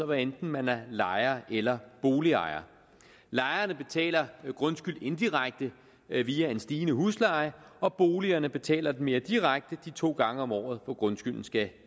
hvad enten man er lejer eller boligejer lejerne betaler grundskyld indirekte via en stigende husleje og boligejerne betaler den mere direkte de to gange om året hvor grundskylden skal